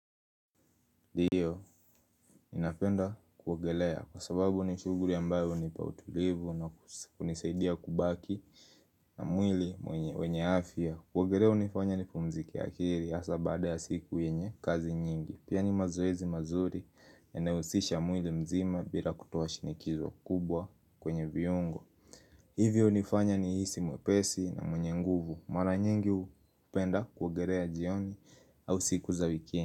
Ndio, napenda kuogelea kwa sababu ni shughuli ambayo hunipa utulivu na kunisaidia kubaki na mwili mwenye afia. Kuogelea unifanya nipumzike akili hasa bada ya siku yenye kazi nyingi. Pia ni mazoezi mazuri yanyohusisha mwili mzima bila kutoa shinikizwa kubwa kwenye viungo. Hivyo unifanya nihisi mwepesi na mwenye nguvu. Mara nyingi hupenda kuogelea jioni au siku za wikindi.